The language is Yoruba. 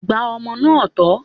Gba ọmọ náà tọ́!